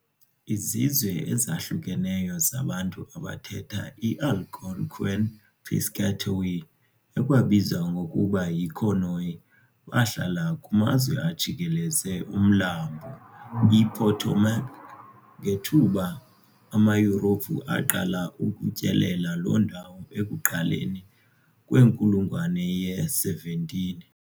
Izizwe ezahlukeneyo zabantu abathetha iAlgonquian Piscataway, ekwabizwa ngokuba yiConoy, bahlala kumazwe ajikeleze uMlambo iPotomac ngethuba amaYurophu aqala ukutyelela loo ndawo ekuqaleni kwenkulungwane ye-17.